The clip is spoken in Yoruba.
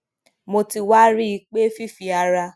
mo ti wá rí i pé fífi ara